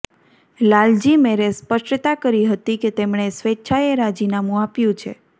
લાલજી મેરે સ્પષ્ટતા કરી હતી કે તેમણે સ્વેચ્છાએ રાજીનામુ આપ્યું છે